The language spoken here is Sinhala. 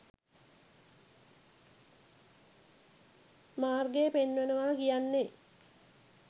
මාර්ගය පෙන්වනවා කියන්නේ.